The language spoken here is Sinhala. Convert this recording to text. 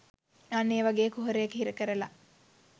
අන්න ඒ වගේ කුහරයක හිර කරලා